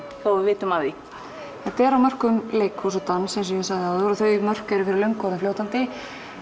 þó við vitum af því þetta er á mörkum leikhúss og dans eins og ég sagði áðan og þau mörk eru fyrir löngu orðin fljótandi